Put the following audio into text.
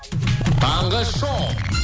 таңғы шоу